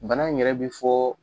Bana in yɛrɛ be fɔ